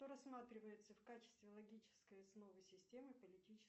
что рассматривается в качестве логической основы системы политической